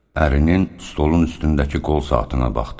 Ərinin stolun üstündəki qol saatına baxdı.